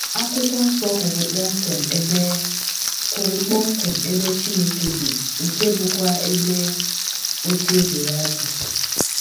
Akwụkwọ Nsọ kwuru kpọmkwem ebe kwuru kpọmkwem ebe Chineke bi, nke bụ́kwa ebe “ ocheeze ” ya dị.